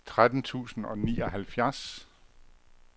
tretten tusind og nioghalvfjerds